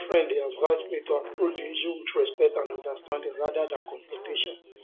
my friend dey advise me to approach the issue with respect and understanding rather than confrontation